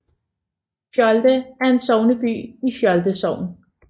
Fjolde er sogneby i Fjolde Sogn